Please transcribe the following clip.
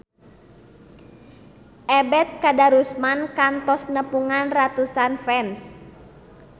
Ebet Kadarusman kantos nepungan ratusan fans